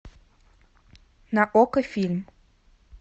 на окко фильм